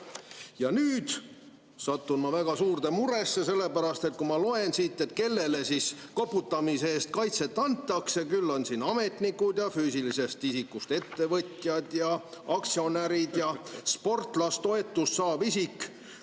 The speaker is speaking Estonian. Ja nüüd satun ma väga suurde muresse, sellepärast et kui ma loen siit, kellele koputamise eest kaitset antakse, siis küll on siin ametnikud ja füüsilisest isikust ettevõtjad ja aktsionärid ja sportlasetoetust saav isik.